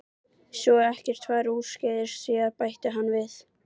Svo ekkert fari úrskeiðis síðar bætti hann við.